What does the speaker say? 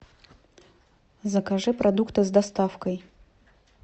закажи продукты с доставкой